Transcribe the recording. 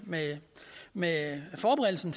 med med forberedelsen